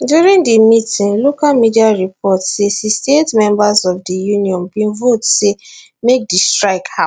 during di meeting local media report say 68 members of di union bin vote say make di strike happun